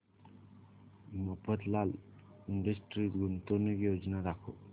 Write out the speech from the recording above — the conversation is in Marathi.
मफतलाल इंडस्ट्रीज गुंतवणूक योजना दाखव